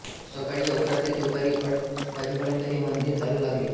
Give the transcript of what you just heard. सकाळी अकरा ते दुपारी अडीच वाजेपर्यंत हे मंदिर चालू लागले